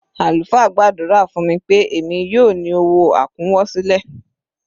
Àlùfáà gbàdúrà fún mi pé èmi yóò ní owó àkúnwọsílẹ̀.